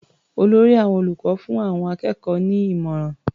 Olórí àwọn olùkọ́ fún àwọn akẹ́kọ̀ọ́ ní ìmọ̀ràn.